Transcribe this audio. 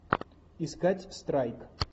искать страйк